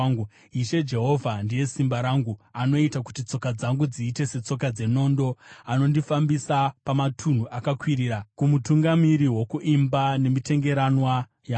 Ishe Jehovha ndiye simba rangu; anoita kuti tsoka dzangu dziite setsoka dzenondo, anondifambisa pamatunhu akakwirira. Kumutungamiri wokuimba, nemitengeranwa yangu.